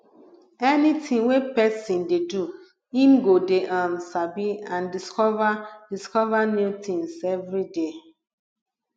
anything wey persin de do im go de um sabi and discover discover new things everyday